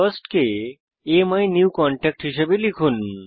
first কে অ্যামিনিউকনট্যাক্ট হিসাবে লিখুন